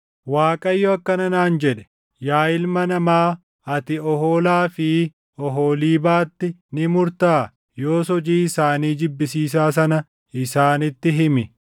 Waaqayyo akkana naan jedhe: “Yaa ilma namaa, ati Oholaa fi Oholiibaatti ni murtaa? Yoos hojii isaanii jibbisiisaa sana isaanitti himi;